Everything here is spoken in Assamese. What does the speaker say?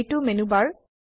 এইটো মেনু বাৰ